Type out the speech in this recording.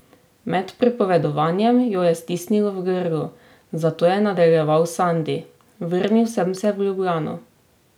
Med pripovedovanjem jo je stisnilo v grlu, zato je nadaljeval Sandi: "Vrnil sem se v Ljubljano.